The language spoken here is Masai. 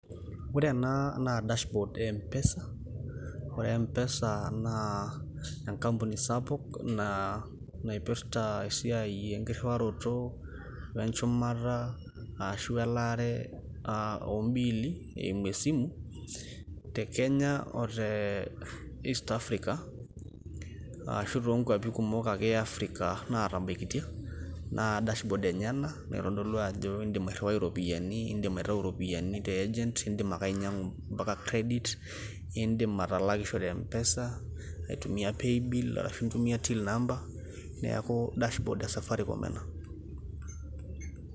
Ore ena na dashboard e M-PESA, ore M-PESA naa enkampuni sapuk, naipirta esiai enkirriwaroto, wenjumata ashu elaare ah obiili, eimu esimu, te kenya o te East Africa, ashu tokwapi kumok ake e Africa natabaikitia, na dashboard enye ena, naitodolu ajo idim airriwai iropiyiani, idim aitau iropiyiani te argent ,iidim ake ainyang'u mpaka credit ,iidim atalakishore M-PESA, aitu mia pay bill ashu itumia Till number ,neeku dashboard e safaricom ena.